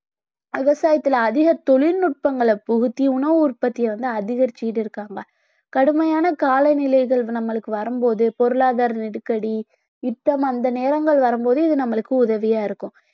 விவசாயத்துல அதிக தொழில்நுட்பங்களை புகுத்தி உணவு உற்பத்திய வந்து அதிகரிச்சிட்டு இருக்காங்க கடுமையான காலநிலைகள் நம்மளுக்கு வரும்போது பொருளாதார நெருக்கடி, யுத்தம் அந்த நேரங்கள் வரும்போது இது நம்மளுக்கு உதவியா இருக்கும்